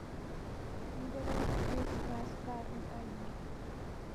ongerera Krismasi kalenda-inĩ